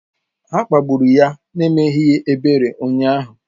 Ha kpagburu ya n'emeghị ebere ụnyahụ.